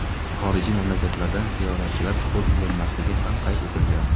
xorijiy mamlakatlardan ziyoratchilar qabul qilinmasligi ham qayd etilgan.